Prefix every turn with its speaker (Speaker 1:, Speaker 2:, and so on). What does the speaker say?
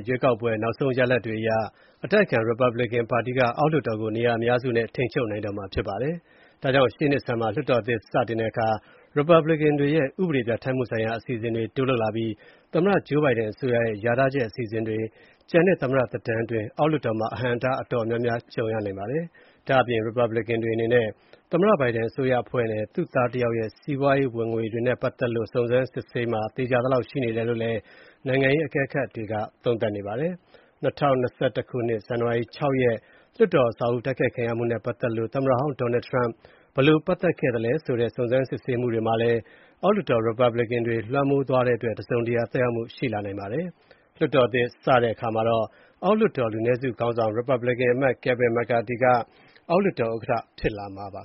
Speaker 1: ရွေးကောက်ပွဲ နောက်ဆုံးရလဒ်တွေအရ အတိုက်အခံ ရီပတ်ပလင်ကန်ပါတီက အောက်လွှတ်တော်ကို နေရာအများစုနဲ့ ထိန်းချုပ်နိုင်တော့မှာဖြစ်ပါတယ်။ ဒါကြောင့် ရှေ့နှစ်ဆန်းမှာ လွှတ်တော်သစ်စတင်တဲ့အခါ ရီပတ်ပလင်ကန်တွေရဲ့ ဥပဒေပြဌာန်းမှုဆိုင်ရာ အစီအစဉ်တွေတိုးလုပ်လာပြီး သမ္မတဂျိုးဘိုင်ဒန်အစိုးရရဲ့ လျာထားချက်အစီအစဉ်တွေ ကျန်တဲ့သမ္မတသက်တမ်းအတွင်း အောက်လွှတ်တော်မှာ အဟန့်အတားအတော်များများ ကြုံရနိုင်ပါတယ်။ ဒါ့အပြင် ရီပတ်ပလင်ကန်တွေအနေနဲ့ သမ္မတဘိုင်ဒန်အစိုးရအဖွဲ့နဲ့ သူ့သားတယောက်ရဲ့ စီးပွားရေးဝင်ငွေတွေနဲ့ပတ်သက်လို့ စုံစမ်းစစ်ဆေးမှာ သေချာသလောက်ရှိတယ်လို့ နိုင်ငံရေးအကဲခတ်တွေက သုံးသပ်နေပါတယ်။ ၂၀၂၁ ဇန်နဝါရီလ ၆ ရက် လွှတ်တော်အဆောက်အဦးတိုက်ခိုက်ခံရမှုနဲ့ပတ်သက်လို့ သမ္မတဟောင်း Donald Trump ဘယ်လို ပတ်သက်လဲဆိုတဲ့ စုံစမ်းစစ်ဆေးမှုတွေမှာလည်း အောက်လွှတ်တော်ရီပတ်ပလင်ကန်တွေ လွှမ်းမိုးသွားတဲ့အတွက် တစုံတရာသက်ရောက်မှုရှိနိုင်ပါတယ်။ လွှတ်တော်သစ် စတင်တဲ့အခါ အောက်လွှတ်တော်လူနည်းစုခေါင်းဆောင် ရီပတ်ပလင်ကန်အမတ် Kevin McCarty က အောက်လွှတ်
Speaker 2: တော်ဥက္ကဋ္ဌ ဖြစ်လာမှာပါ